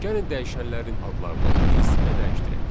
Gəlin dəyişənlərin adlarını ingilis dilinə dəyişdirək.